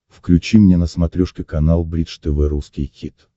включи мне на смотрешке канал бридж тв русский хит